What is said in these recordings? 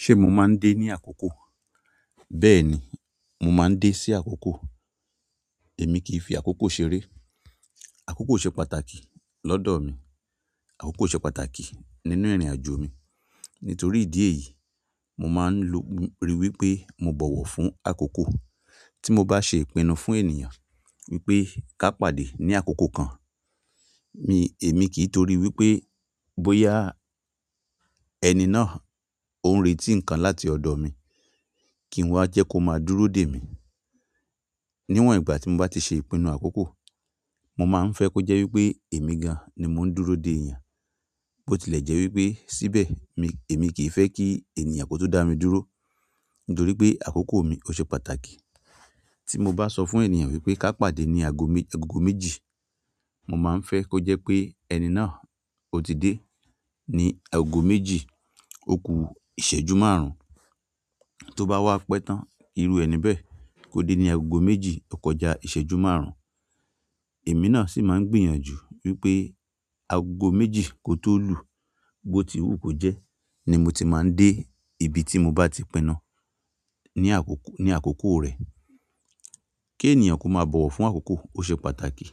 Ṣé mo máa ń dé ní àkókò? Bẹ́ẹ̀ni, mo máa ń dé sí àkókò. Èmi kì í fi àkókò ṣeré. Àkókò ṣe pàtàkì lọ́dọ̀ mi. Àkókò ṣe pàtàkì nínú ìrìnàjò mi. Nítorí ìdí èyí, mo máa ń lo ri wípé mo bọ̀wọ̀ fún àkókò. Tí mo bá ṣe ìpinnu fún ènìyàn wípé ká pàdé ní àkókò kan, mi, èmi kì í torí wípé bóyá ẹni náà ó ń retí nǹkan láti ọ̀dọ̀ mi, kí n wá jẹ́ kó máa dúró dè mí. Níwòn ìgbà tí mo bá ti ṣe ìpinnu àkókò, mo máa ń fẹ́ kó jẹ́ wípé èmi gan an ni mo ń dúró dè ènìyàn, bó ti lẹ̀ jẹ́ wípé síbẹ̀ mi, èmi kì í fẹ́ kí ènìyàn kó tún dá mi dúró. Nítorí pé àkókò mi ó ṣe pàtàkì. Tí mo bá sọ fún ènìyàn wípé ká pàdé ní ago mi, agogo méjì, mo máa ń fẹ́ kó jẹ́ pé ẹni náà ó ti dé ní agogo méjì òkú ìṣẹ́jú márùn-ún. Tó bá wá pẹ́ tán, irú ẹni bẹ́ẹ̀ kò dé ní agogo méjì ọkọ̀ọ́jà ìṣẹ́jú márùn-ún. Èmi náà sì máa ń gbìyànjú wípé agogo méjì kò tó lù, bó ti wú kó jẹ́ ni mo ti máa ń dé ibi tí mo bá ti pinu ní àkókò, ní àkókò rẹ̀. Kí ènìyàn kó máa bọ̀wọ̀ fún àkókò ó ṣe pàtàkì.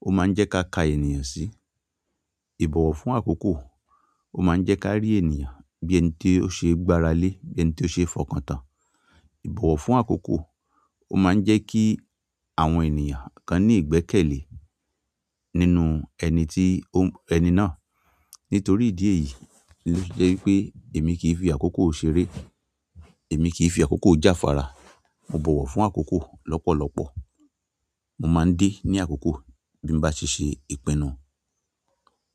Ó má ń jẹ́ ká ka ènìyàn sí. Ìbọ̀wọ̀ fún àkókò ó má ń jẹ́ ká rí ènìyàn bí ẹni tí ó ṣe gbára lé, bí ẹni tí ó ṣe fọkàn tán. Ìbọ̀wọ̀ fún àkókò ó má ń jẹ́ kí àwọn ènìyàn kan ní ìgbẹ́kẹ̀lé nínú ẹni tí ó ń, ẹni náà. Nítorí ìdí èyí ló fi jẹ́ wípé èmi kì í fi àkókò ṣeré. Èmi kì í fi àkókò jáfara. Mo bọ̀wọ̀ fún àkókò lọ́pọ̀lọ́pọ̀. Mo máa ń dé ní àkókò bí mo bá ṣe ṣe ìpinnu.